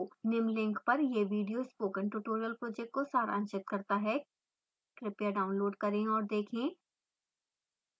निम्न link पर यह video spoken tutorial project को सारांशित करता है कृपया download करें और देखें